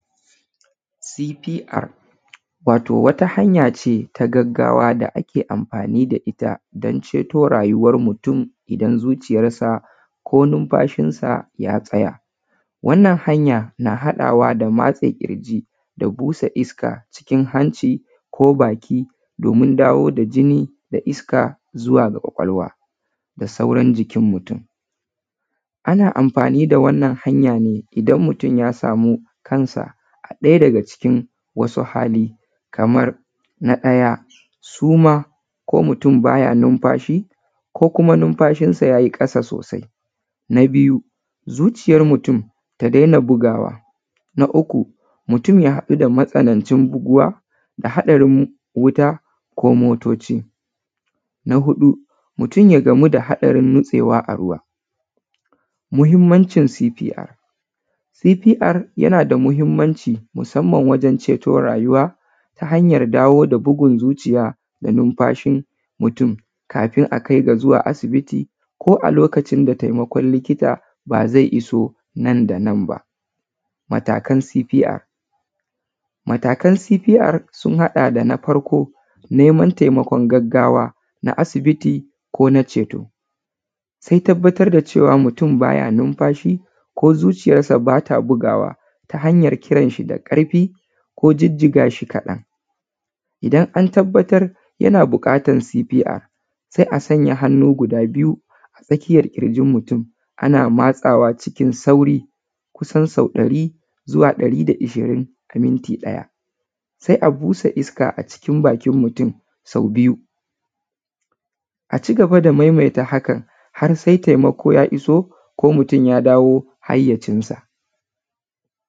C P R wato wata hanyace na gaggawa da ake anfani da ita dun ceto rayuwan mutun idan zuciyansa ko ninfashinsa ya tsaya, wannan hanya na haɗawa da matse kirji da busa iska cikin hanci ko baki domin dawo da jini da iska zuwa ga kwakwalwa da sauran jikin mutum. Ana anfani da wannan hanya ne idan mutum ya saman kansa a ɗaya daga cikin wasu hali kaman na ɗaya suma ko mutum baya ninfashi ko kuma ninfashinsa ya yi ƙasa sosai, na biyu zuciyar mutun da dena bugawa na uku mutun ya haɗu da matsanancin buguwa na haɗarin wuta ko motoci, na huɗu mutum ya haɗu da hatsarin nitsewa a gida. Muhinmancin cpr, cpr yana da muhinmanci wajen ceto rayuwa hanyan dawo da bugun zuciya, ninfashin mutum kafin a kai shi asibiti ko a lokcin da taimakon likita ba zai isu nan da nan. Matakan cpr matalkan sun haɗa da neman taimakon gaggawa na asibiti ko ceto se tabbatar da cewa ko zuciyarsa bata bugawa ta hanyan kiran shi da ƙarfi ko jijiga shi kaɗan, idan antabbatar da buƙatan cpr sa a sanya hannu guda biyu a tsakiyan ƙirjin mutun ana matsawa cikin sauƙi kusan sau ɗari zuwa ɗari da hamsin a minti ɗaya se a busa iska a cikin baki sau biyu a cigaba da maimaita haka har sai taimako ya iso ko mutum yadawo haiyacinsa